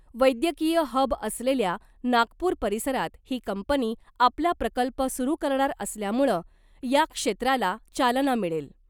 वैद्यकीय हब असलेल्या नागपूर परिसरात ही कंपनी आपला प्रकल्प सुरू करणार असल्यामुळं या क्षेत्राला चालना मिळेल .